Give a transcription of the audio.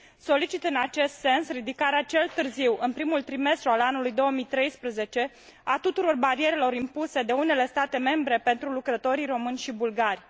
Solicit în acest sens ridicarea cel târziu în primul trimestru al anului 2013 a tuturor barierelor impuse de unele state membre pentru lucrătorii români și bulgari.